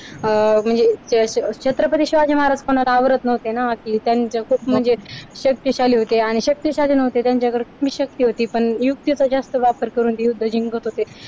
म्हणजे छत्रपती शिवाजी महाराज कोणाला आवरत नव्हते ना कि त्यांनी कि खूप म्हणजे शक्तिशाली होते शक्तिशाली नव्हते पण त्यांच्याकडे हुकमी शक्ती होती पण युक्तीचा जास्त वापर करून ते युद्ध जिंकत होते.